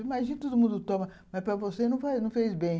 Imagina, todo mundo toma, mas para você não fez bem.